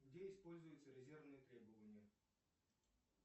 где используются резервные требования